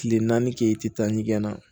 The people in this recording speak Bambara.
Tile naani kɛ i tɛ taa ɲɛgɛn na